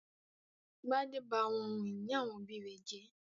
Gbadé ba àwọn ohun-ìní àwọn òbí rẹ̀ jẹ́?